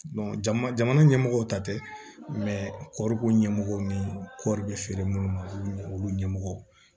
jamana ɲɛmɔgɔw ta tɛ kɔriko ɲɛmɔgɔw ni kɔri bɛ feere minnu ma olu ɲɛmɔgɔ